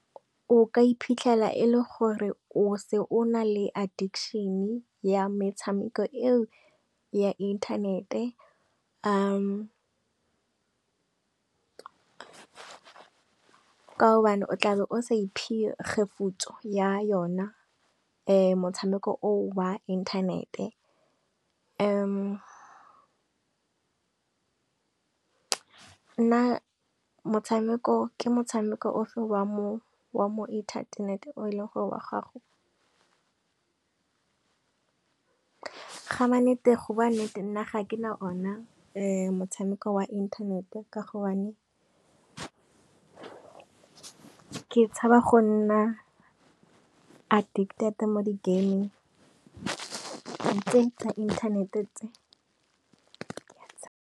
O ka iphitlhela e le gore o se o na le addiction ya metshameko eo ya inthanete, ka gobane o tlabe o sa iphe kgefutso ya yona. Motshameko wa inthanete, nna motshameko ke motshameko ofe wa mo wa mo inthanete o e leng gore wa gago. Ga mannete go bua nnete nna ga ke na ona, motshameko wa inthanete ka gobane ke tshaba go nna addicted mo di gaming tse tsa inthanete tse.